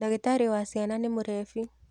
ndagītarī wa ciana nī mūrebi.